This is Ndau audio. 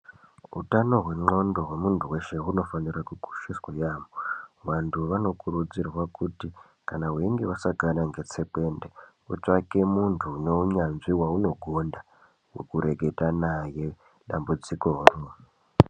Hutano hweqondo hwemuntu weshe hunofanire kukosheswa yaamho. Vantu vanokurudzirwa kuti kana veinge vasangana netsekwende utsvake muntu une unyanzvi weunogonda vekureketa naye dambudziko iroro.